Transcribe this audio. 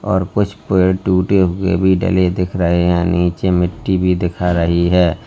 और कुछ पेड़ टूटे हुए भी डले दिख रहे हैं नीचे मिट्टी भी दिखा रही है।